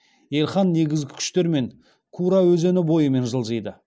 елхан негізгі күштермен кура өзені бойымен жылжиды